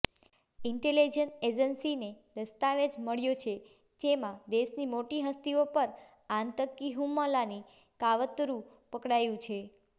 intelligence એજન્સીને દસ્તાવેજ મળ્યો છે જેમાં દેશની મોટી હસ્તીઓ પર આતંકી હુમલાની કાવતરું પકડાયું છે